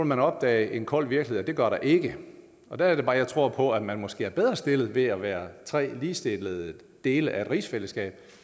man opdage en kold virkelighed det gør der ikke og der er det bare jeg tror på at man måske er bedre stillet ved at være af tre ligestillede dele af et rigsfællesskab